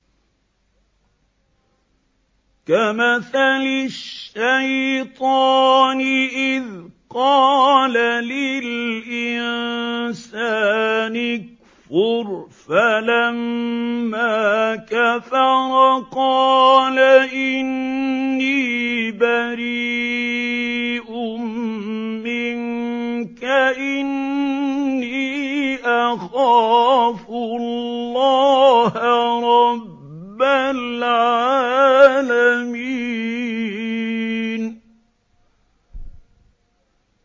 كَمَثَلِ الشَّيْطَانِ إِذْ قَالَ لِلْإِنسَانِ اكْفُرْ فَلَمَّا كَفَرَ قَالَ إِنِّي بَرِيءٌ مِّنكَ إِنِّي أَخَافُ اللَّهَ رَبَّ الْعَالَمِينَ